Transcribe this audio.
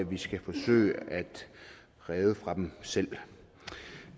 vi skal forsøge at redde fra dem selv